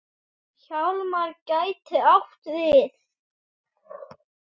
Hjálmar gæti átt við